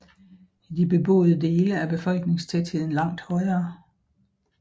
I de beboede dele er befolkningstætheden langt højere